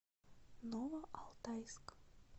новоалтайск